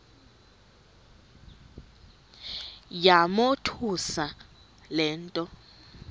yamothusa le nto